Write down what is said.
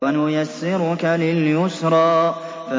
وَنُيَسِّرُكَ لِلْيُسْرَىٰ